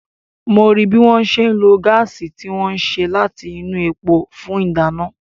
mo rí bí wọ́n ṣe ń lo gáàsì tí wọ́n ṣe láti inú epo fún ìdáná.